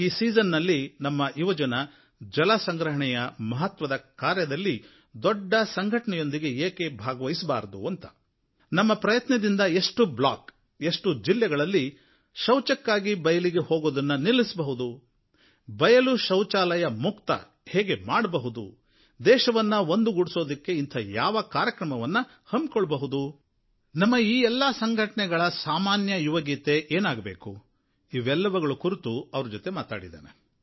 ಈ ಸೀಸನ್ನಿನಲ್ಲಿ ನಮ್ಮ ಯುವಜನ ಜಲಸಂಗ್ರಹಣೆಯ ಮಹತ್ವದ ಕಾರ್ಯದಲ್ಲಿ ದೊಡ್ಡ ಸಂಘಟನೆಯೊಂದಿಗೆ ಏಕೆ ಕೈಜೋಡಿಸಬಾರದು ನಮ್ಮ ಪ್ರಯತ್ನದಿಂದ ಎಷ್ಟು ಬ್ಲಾಕುಗಳಲ್ಲಿ ಎಷ್ಟು ಜಿಲ್ಲೆಗಳಲ್ಲಿ ಶೌಚಕ್ಕಾಗಿ ಬಯಲಿಗೆ ಹೋಗುವುದನ್ನು ನಿಲ್ಲಿಸಬಹುದು ಗ್ರಾಮವನ್ನು ಬಯಲು ಶೌಚಾಲಯ ಮುಕ್ತ ಹೇಗೆ ಮಾಡಬಹುದು ದೇಶವನ್ನು ಒಂದುಗೂಡಿಸಲು ಇಂಥ ಯಾವ ಕಾರ್ಯಕ್ರಮವನ್ನು ಹಮ್ಮಿಕೊಳ್ಳಬಹುದು ನಮ್ಮ ಈ ಎಲ್ಲ ಸಂಘಟಣೆಗಳ ಸಾಮಾನ್ಯ ಯುವಗೀತೆ ಏನಾಗಬೇಕು ಇವೆಲ್ಲವುಗಳ ಕುರಿತು ಅವರ ಜೊತೆ ಮಾತಾಡಿದ್ದೇನೆ